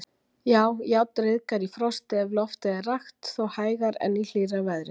Já, járn ryðgar í frosti ef loftið er rakt, þó hægar en í hlýrra veðri.